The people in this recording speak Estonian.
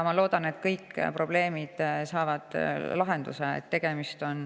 Ma loodan, et kõik probleemid saavad lahenduse.